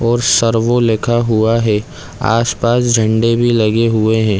और सर वह लिखा हुआ हैआस-पास झंडे भी लगे हुए है।